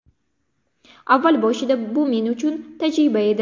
Avval boshida bu men uchun tajriba edi.